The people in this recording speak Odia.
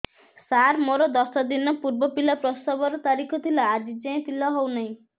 ସାର ମୋର ଦଶ ଦିନ ପୂର୍ବ ପିଲା ପ୍ରସଵ ର ତାରିଖ ଥିଲା ଆଜି ଯାଇଁ ପିଲା ହଉ ନାହିଁ